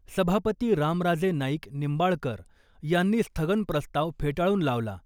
सभापती रामराजे नाईक निंबाळकर यांनी स्थगन प्रस्ताव फेटाळून लावला .